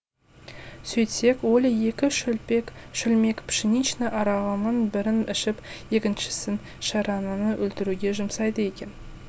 сөйтсек оля екі шөлмек пшеничный арағының бірін ішіп екіншісін шарананы өлтіруге жұмсайды екен